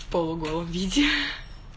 в полуголом виде